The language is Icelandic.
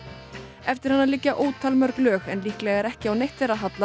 eftir hana liggja lög en líklega er ekki á neitt þeirra hallað